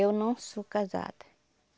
Eu não sou casada.